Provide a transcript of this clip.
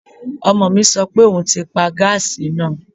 Ọmọ mi sọ pé òun ti pa gáàsì náà